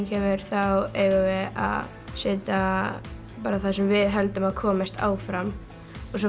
kemur þá eigum við að setja bara það sem við höldum að komist áfram og svo